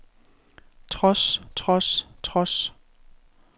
trods trods trods